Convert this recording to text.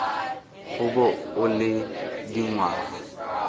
go bo o le dingwaga